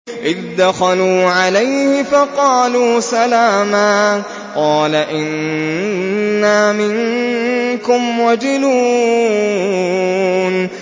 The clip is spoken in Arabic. إِذْ دَخَلُوا عَلَيْهِ فَقَالُوا سَلَامًا قَالَ إِنَّا مِنكُمْ وَجِلُونَ